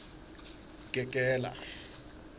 gegela